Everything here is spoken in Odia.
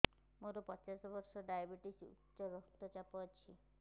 ମୋର ପଚାଶ ବର୍ଷ ଡାଏବେଟିସ ଉଚ୍ଚ ରକ୍ତ ଚାପ ଅଛି